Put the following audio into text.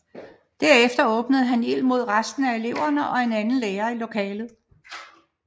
Derefter åbnede han ild mod resten af eleverne og en anden lærer i lokalet